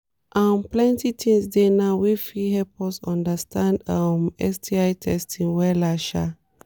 um plenty things dey now wey fit help us understand um sti testing wella um